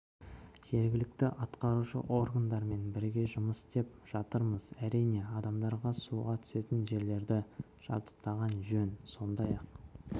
жергілікті атқарушы органдармен бірге жұмыс істеп жатырмыз әрине адамдар суға түсетін жерлерді жабдықтаған жөн сондай-ақ